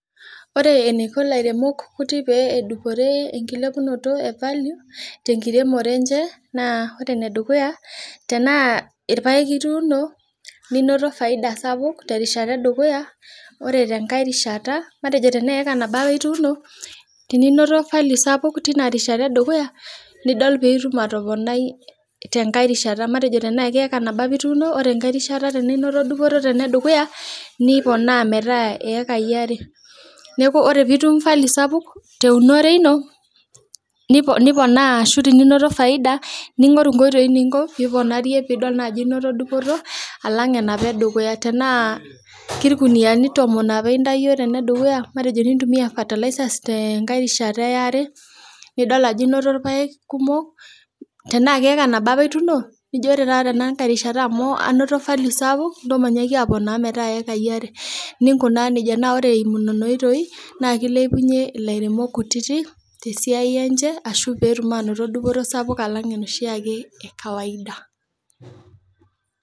Ore enaiko ilairemok kuti pee edupore ekilepunoto ee value tekiremore enche naa ore ene dukuyaa, naa tenaairpaek ituuno ninoto faida sapuk tenkata edukuya kore tenkae rishata matejo tenaa eeka nabo apa ituuno tininoto value sidai Tina rishata edukuya nidol piitum atopnaii tenkae rishata, matejo tenaa eeka nabo apa ituuno ore enkerai rishata tininoto dupoto tenedukuya nipoona meetaa iyekaii aare, neeku ore piitum value sapuk teunore ino nipoona ashu tininoto faida ningorru inkoitoii niponarie alang enapa edukuya, tenaa kirkuniyiani tomon apa itayio tenedukuya, matejo nintumia fertilizer tenkae rishata ya are nidol ajo inoto irpaek kumok, tenaa keeka nabo apake ituuno, najo ore taata tenkae rishata amu anoto value sapuk nijo intoo matooponaii metaa iyekaii are nikunaa nejia, naa ore esimu nena oitoi naa kilepunye ilairemok kutitik esiaai enche ashu peetum anoto dupoto sapuk slang enoshii ake ee kawaida